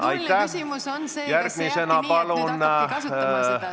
Aga protseduuriline küsimus on see, et kas see jääbki nii, et nüüd hakataksegi seda kasutama.